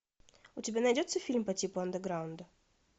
у тебя найдется фильм по типу андеграунда